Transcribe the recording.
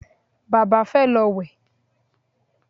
Bàbá fẹ́ lọ wẹ̀